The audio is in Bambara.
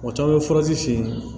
Mɔgɔ caman bɛ furaji fin